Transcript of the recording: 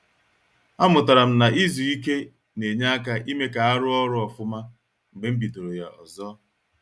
A mụtara m na-izu ike na-enye aka ime ka a ruo ọrụ ofuma mgbe m bidoro ya ọzọ